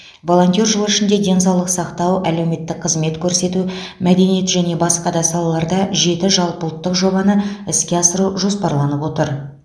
волонтер жылы ішінде денсаулық сақтау әлеуметтік қызмет көрсету мәдениет және басқа да салаларда жеті жалпыұлттық жобаны іске асыру жоспарланып отыр